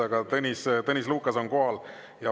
Aga Tõnis Lukas on kohal.